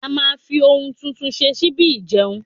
a ma fi oun tuntun ṣe síbí ìjeun